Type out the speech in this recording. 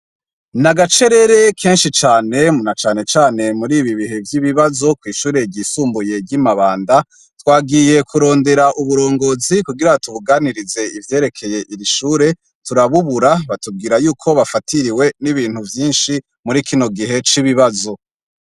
N'agacerere keshi cane na cane cane muribi bihe vy'ibabazo kw'ishuri ryisumbuye ryi Mabanda twagiye kurondera uburongozi kugira tubuganirize ivyerekeye iri shuri turabubura batubwira yuko bafatiriwe n'ibintu vyishi muri kino gihe c'ibibazo.